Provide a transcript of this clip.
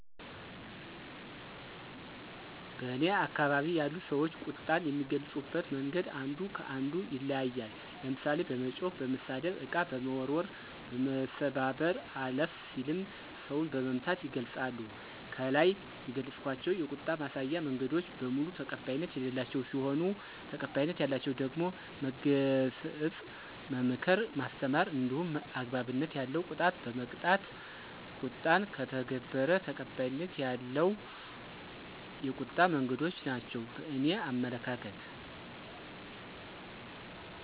በእኔ አከባቢ ያሉ ሰዎች ቁጣን የሚገልጹበት መንገድ አንዱ ከ አንዱ ይለያያል። ለምሳሌ፦ በመጮህ፣ በመሳደብ፣ እቃ በመወርወር፣ በመሰባበር አለፍ ሲልም ሰውን በመምታት ይገልፃሉ። ከላይ የገለፅኳቸው የቁጣ ማሳያ መንገዶች በሙሉ ተቀባይነት የሌላቸው ሲሆኑ ተቀባይነት ያላቸው ደግሞ መገሰጽ፣ መምከር፣ ማስተማር እንዲሁም አግባብነት ያለው ቅጣት በመቅጣት ቁጣውን ከተገበረ ተቀባይነት ያለው የቁጣ መንገዶች ናቸው በእኔ አመለካከት።